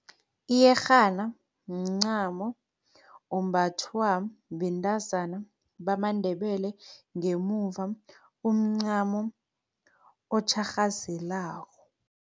Iyerhana mncamo ombathwa bentazana bamaNdebele ngemuva, umncamo otjharhazelako.